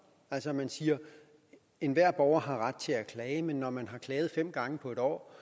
altså at man siger at enhver borger har ret til at klage men når man har klaget fem gange på en år